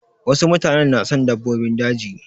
Wasu mutanen na son dabbobin daji.